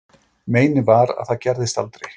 Meinið var, að það gerðist aldrei.